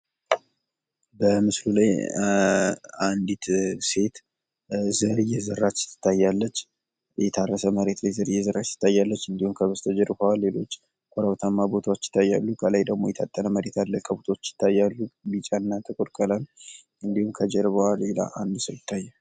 በምስሉ ላይ አንዲት ሴት ዘር እየዘራች ትታያለች። የተረሰ መሬት ላይ ዘር እየዘራች ትታያለች። እንዲሁም ከበስተጀርባዋ ሌሎች ከረብታማ ቦታዎች ይታያሉ። ከላይ ደግሞ የታጠረ መሬት አለ። ከብቶች ይታያሉ። ቢጫ እና ጥቁር ቀለም እንዲሁም ከጀርባዋ ሌላ አንድ ሰው ይታያል።